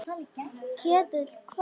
Ketill hvað?